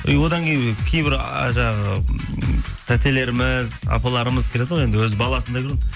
одан кейін кейбір а жаңағы м тәтелеріміз апаларымыз келеді ғой енді өз баласындай көреді